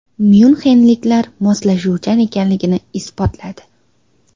Myunxenliklar moslashuvchan ekanligini isbotladi.